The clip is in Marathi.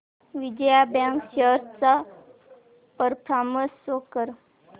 विजया बँक शेअर्स चा परफॉर्मन्स शो कर